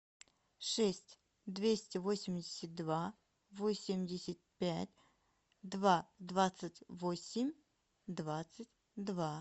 шесть двести восемьдесят два восемьдесят пять два двадцать восемь двадцать два